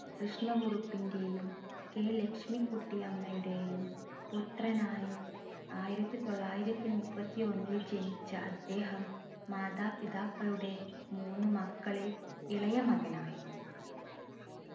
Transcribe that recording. കൃഷ്ണ കുറുപ്പിൻറെയും കെ ലക്ഷ്മിക്കുട്ടിയമ്മയുടെയും പുത്രനായി ആയിരത്തി തൊള്ളായിരത്തി മുപ്പത്തിയൊന്നിൽ ജനിച്ച അദ്ദേഹം മാതാപിതാക്കളുടെ മൂന്ന് മക്കളിൽ ഇളയ മകനായിരുന്നു